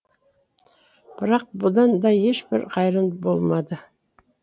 бірақ бұдан да ешбір қайран болмады